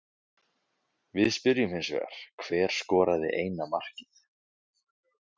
Við spyrjum hins vegar, hver skoraði eina markið?